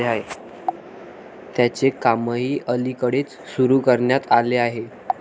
त्याचे कामही अलीकडेच सुरू करण्यात आले आहे.